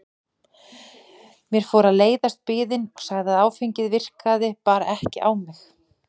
Mér fór að leiðast biðin og sagði að áfengið virkaði bara ekki á mig.